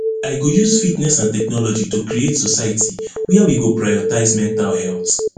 i go use fitness and technology to create society wia we go prioritize mental health